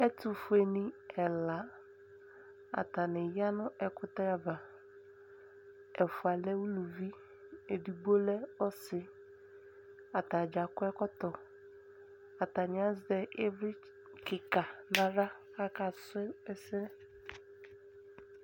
Ɛtʋfueni ɛla, atani ya nʋ ɛkʋtɛ ava Ɛfua lɛ alʋvi, ɛdigbo lɛ ɔsi Atadza akɔ ɛkɔtɔ Atani azɛ ivli kika naɣla kʋ akasʋ ɛsɛ